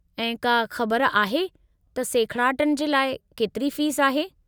ऐं का ख़बर आहे त सेखिड़ाटनि जे लाइ केतिरी फ़ीस आहे?